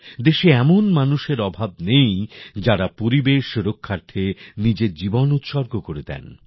দেশে এমন মানুষের অভাব নেই যারা পরিবেশ রক্ষার্থে নিজের জীবন উৎসর্গ করে দেন